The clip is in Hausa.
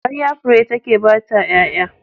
Ƙarya fure take bata ƴaƴa.